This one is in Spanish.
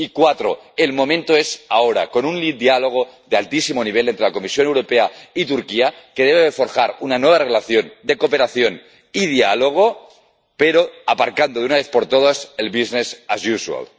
y cuatro el momento es ahora, con un diálogo de altísimo nivel entre la Comisión Europea y Turquía que debe forjar una nueva relación de cooperación y diálogo, pero aparcando, de una vez por todas, el business as usual